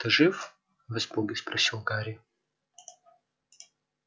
ты жив в испуге спросил гарри